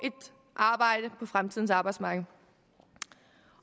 fremtidens arbejdsmarked